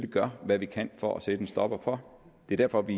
gøre hvad vi kan for at sætte en stopper for det er derfor at vi